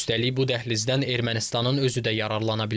Üstəlik, bu dəhlizdən Ermənistanın özü də yararlana bilər.